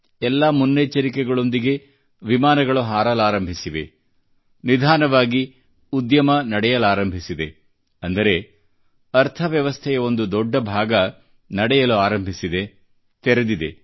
ಎಲ್ಲಾ ಮುನ್ನೆಚ್ಚರಿಕೆಗಳೊಂದಿಗೆ ವಿಮಾನಗಳು ಹಾರಲಾರಂಭಿಸಿವೆ ನಿಧಾನವಾಗಿ ಉದ್ಯಮ ನಡೆಯಲಾರಂಭಿಸಿದೆ ಅಂದರೆ ಅರ್ಥವ್ಯವಸ್ಥೆಯ ಒಂದು ದೊಡ್ಡ ಭಾಗ ನಡೆಯಲು ಆರಂಭಿಸಿದೆ ತೆರೆದಿದೆ